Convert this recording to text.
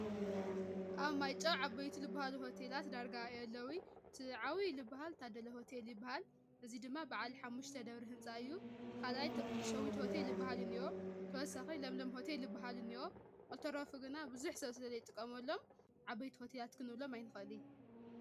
ኣብ ማይጨው ዓበይቲ ልብሃሉ ሆቴላት ዳርጋ የለውይ፡፡ ቲዓብይ ልባሃል ታደለ ሆቴለ ልባሃል፣ እዙይ ድማ በዓል ሓሙሽተ ደብሪ ሕንጻ እዩ፡፡ ኻልኣይ ሸዊት ሆቴል ልበሃል እንኦ ተወሳኺ ለምለም ሆቴል ልባሃል እኒኦ ልተረፉ ግና ብዙሕ ሰብ ስለ ለይ ጥቐመሎም ዓበይቲ ሆቴላት ክንብሎም ኣይንኸልይ፡፡